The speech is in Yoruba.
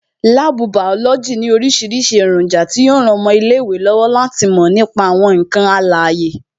Láàbù bàọ́lọ́jì ní orísìírísìí èròjà tí yo ran ọmọ ilé ìwé lọ́wọ́ láti mò nípa àwọn ǹkan alàyè